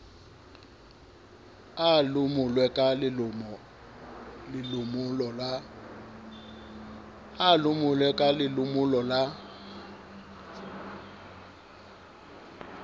a lomolwe ka lelomolo la